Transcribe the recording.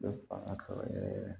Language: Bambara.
Bɛ fanga sɔrɔ yɛrɛ yɛrɛ